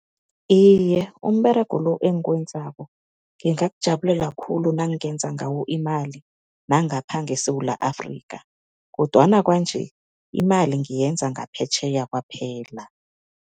Iye, umberego lo engiwenzako ngingakujabulela khulu nangingenza ngawo imali nangapha ngeSewula Afrika kodwana kwanje, imali ngiyenza ngaphetjheya kwaphela.